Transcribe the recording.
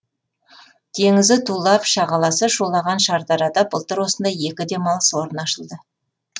теңізі тулап шағаласы шулаған шардарада былтыр осындай екі демалыс орны ашылды